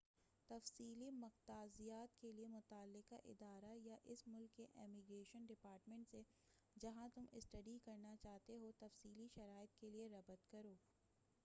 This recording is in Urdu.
تفصیلی مقتضیات کے لئے متعلقہ ادارہ یا اس ملک کے امیگریشن ڈپارٹمنٹ سے جہاں تم اسٹڈی کرنا چاہتے ہو تفصیلی شرائط کے لئے ربط کرو